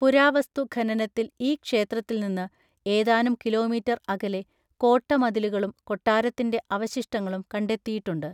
പുരാവസ്തു ഖനനത്തിൽ ഈ ക്ഷേത്രത്തിൽ നിന്ന് ഏതാനും കിലോമീറ്റർ അകലെ കോട്ട മതിലുകളും കൊട്ടാരത്തിൻ്റെ അവശിഷ്ടങ്ങളും കണ്ടെത്തിയിട്ടുണ്ട്.